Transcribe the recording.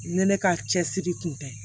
Ni ne ka cɛsiri kun tɛ